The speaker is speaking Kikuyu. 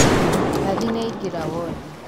Nathi nĩaingĩra wondi.